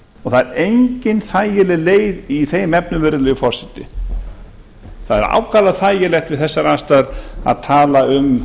það er engin þægileg leið í þeim efnum virðulegi forseti það er ákaflega þægilegt við þessar aðstæður að tala um